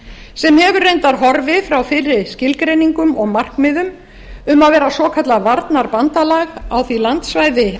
sem hefur reyndar horfið frá fyrri skilgreiningum og markmiðum um að vera svokallað varnarbandalag á